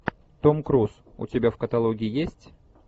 том круз у тебя в каталоге есть